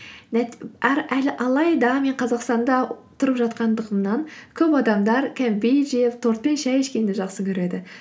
алайда мен қазақстанда тұрып жатқандығымнан көп адамдар кәмпит жеп тортпен шәй ішкенді жақсы көреді